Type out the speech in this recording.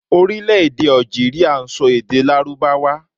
Orílèdè Algeria n so èdè lárúbáwá